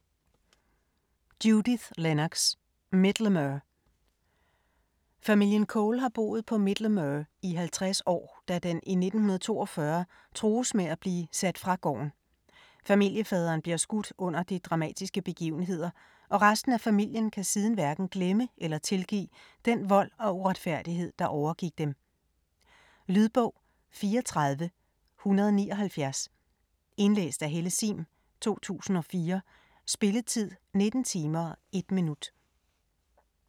Lennox, Judith: Middlemere Familien Cole har boet på Middlemere i 50 år, da den i 1942 trues med at blive sat fra gården. Familiefaderen bliver skudt under de dramatiske begivenheder, og resten af familien kan siden hverken glemme eller tilgive den vold og uretfærdighed, der overgik dem. Lydbog 34179 Indlæst af Helle Sihm, 2004. Spilletid: 19 timer, 1 minut.